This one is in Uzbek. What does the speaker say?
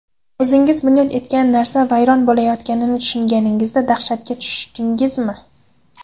O‘zingiz bunyod etgan narsa vayron bo‘layotganini tushunganingizda dahshatga tushdingizmi?